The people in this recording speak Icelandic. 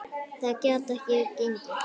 Það gat ekki gengið.